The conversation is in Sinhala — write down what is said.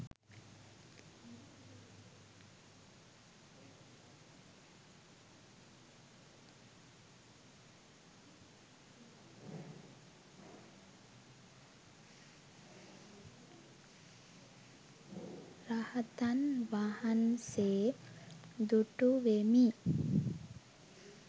rahathan wahanse dutuwemi